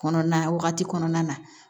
Kɔnɔna wagati kɔnɔna na